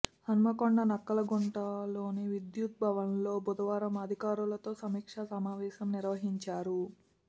హన్మకొండ నక్కలగుట్ట లోని విద్యుత్ భవన్లో బుధవారం అధికారులతో సమీక్షా సమావేశం నిర్వహించారు